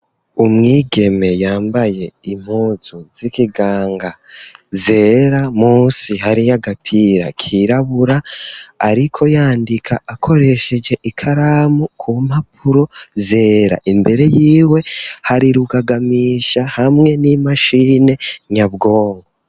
Umwigeme, yambaye impuzu z'ikiganga, zera, munsi hariyo agapira kirabura; ariko yandika akoresheje ikaramu, ku mpapuro zera; imbere yiwe, hari rugagamisha, hamwe n'imashine nyabwonko.